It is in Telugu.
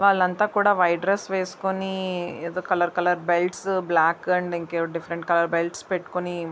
వాళ్లంతా కూడా వైట్ డ్రెస్ వేసుకొని ఏదో colour colour belt black and ఏవో డిఫరెంట్ కలర్స్ పెట్టుకొని--